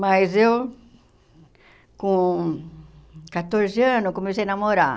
Mas eu, com quatorze anos, eu comecei a namorar.